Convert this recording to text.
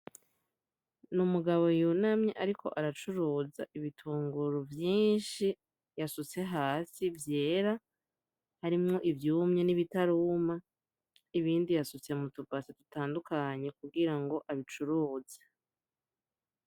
N’umugabo yunamye ariko aracuruza ibitunguru vyinshi yasutse hasi vyera, harimwo ivyumye n’ibitaruma , ibindi yasutse mutubase dutandukanye kugira ngo abicuruze.